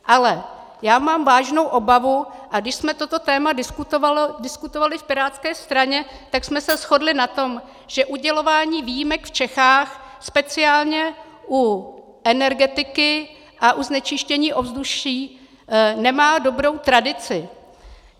Ale já mám vážnou obavu, a když jsme toto téma diskutovali v pirátské straně, tak jsme se shodli na tom, že udělování výjimek v Čechách speciálně u energetiky a u znečištění ovzduší nemá dobrou tradici.